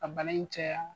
Ka bana in caya